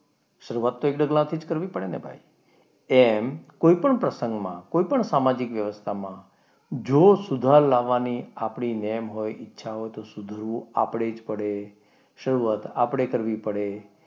એક ડગલા થી જ કરવી પડે ને ભાઈ. તેમ કોઈ પણ પ્રસંગમાં કોઈપણ સામાજિક વ્યવસ્થામાં જો સુધાર લાવવાની આપણી નેમ હોય આપણી ઈચ્છા હોય તો સુધરવું આપણે જ પડે. શરૂઆત આપણે કરવી પડે.